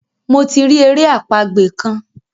Mo ti ri èrè àpagbè kán.